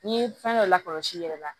N'i ye fɛn dɔ lakɔlɔsi i yɛrɛ la